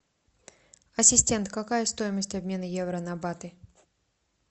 ассистент какая стоимость обмена евро на баты